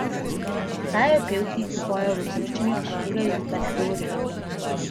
Obstajajo pevci, ki pojejo v romščini, a tega jezika ne govorijo.